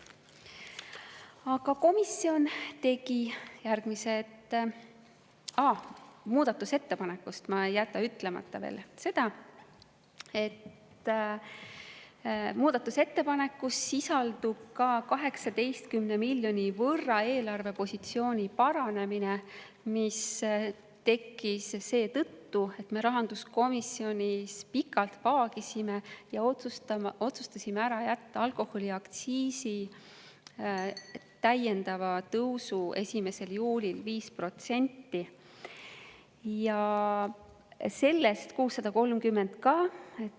Aa, selle muudatusettepaneku kohta ei jäta ma ütlemata veel seda, et muudatusettepanekus sisaldub ka 18 miljoni euro võrra eelarvepositsiooni paranemine, mis tekkis seetõttu, et me rahanduskomisjonis pikalt vaagisime ja otsustasime ära jätta alkoholiaktsiisi täiendava tõusu 5% 1. juulil.